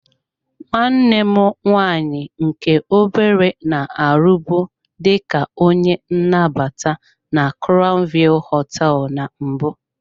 Nwanne m nwaanyị nke obere na-arụbu dị ka onye nnabata na crown view hoteelu na mbụ.